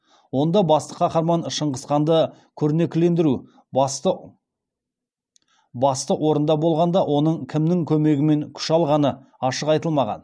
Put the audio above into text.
онда басты қаһарман шыңғысханды көрнектілендіру басты орында болғанда оның кімнің көмегімен күш алғаны ашық айтылмаған